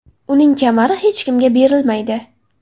Uning kamari hech kimga berilmaydi.